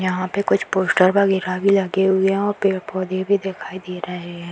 यहाँ पे कुछ पोस्टर वगैरा भी लगे हुए हैं और पेड़-पौधे भी दिखाई दे रहें हैं।